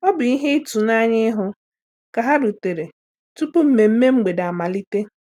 Ọ bụ ihe ituanya ịhụ ka ha rutere tupu mmeme mgbede amalite.